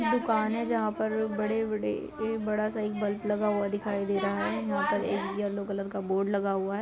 एक दुकान है जिसमें बड़े-बड़े बड़ा सा बल्ब दिखाई दे रहा है। यहां पर येलो कलर का बोर्ड लगा दिखाई दे रहा है।